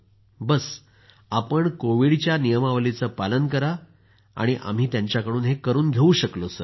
बस आपण कोविडच्या नियमावलीचं पालन करा आणि आम्ही त्यांच्याकडून हे करून घेऊ शकलो सर